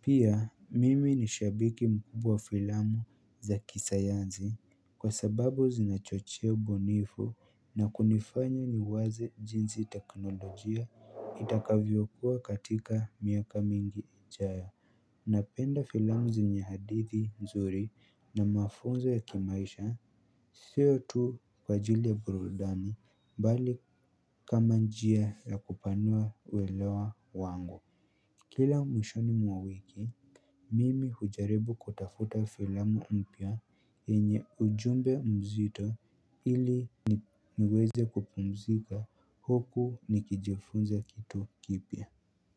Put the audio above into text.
Pia mimi ni shabiki mkubwa filamu za kisayansi kwa sababu zinachochea ubunifu na kunifanya niwaze jinsi teknolojia itakavyo kuwa katika miaka mingi ijayo Napenda filamu zenye hadithi mzuri na mafunzo ya kimaisha sio tu kwa ajili ya burudani bali kama njia ya kupanua uelewa wangu Kila mwishoni mwa wiki mimi hujaribu kutafuta filamu mpya yenye ujumbe mzito ili niweze kupumzika huku nikijifunza kitu kipya.